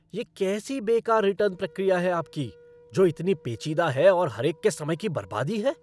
ये कैसी बेकार रिटर्न प्रक्रिया है आपकी, जो इतनी पेचीदा है और हरेक के समय की बर्बादी है।